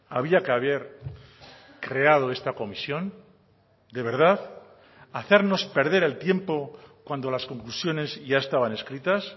había que haber creado esta comisión de verdad hacernos perder el tiempo cuando las conclusiones ya estaban escritas